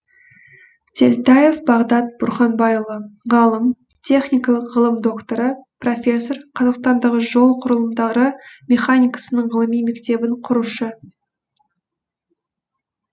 телтаев бағдат бұрханбайұлы ғалым техникалық ғылым докторы профессор қазақстандағы жол құрылымдары механикасының ғылыми мектебін құрушы